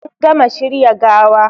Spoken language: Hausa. An gama shirya gawa